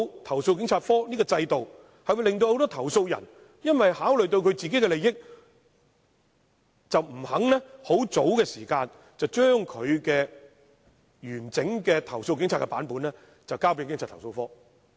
投訴警察課的制度會令很多投訴人因為考慮到自己的利益，而不願意及早把他們對警察的投訴的完整版本交給投訴警察課。